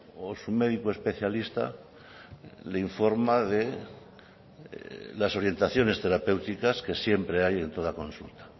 o su médico especialista le informa de las orientaciones terapéuticas que siempre hay en toda consulta